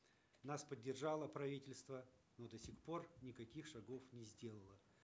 нас поддержало правительство но до сих пор никаких шагов не сделало